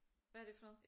Hvad er det for noget?